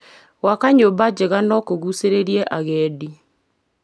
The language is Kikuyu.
Gwaka nyũmba njega no kũgucĩrĩrie agendi.